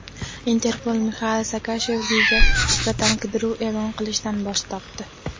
Interpol Mixail Saakashviliga nisbatan qidiruv e’lon qilishdan bosh tortdi.